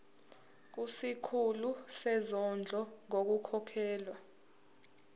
kusikhulu sezondlo ngokukhokhela